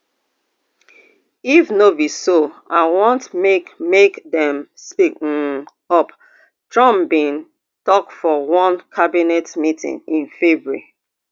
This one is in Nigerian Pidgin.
if no be so i want make make dem speak um up trump bin tok for one cabinet meeting in february